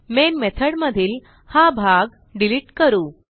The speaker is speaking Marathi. मेन मेथॉड मधील हा भाग डिलिट करू